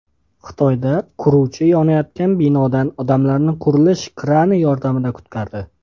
Xitoyda quruvchi yonayotgan binodan odamlarni qurilish krani yordamida qutqardi .